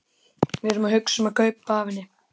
Við erum að hugsa um að kaupa af henni.